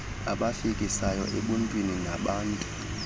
abafikisayo ebuntwini nabantu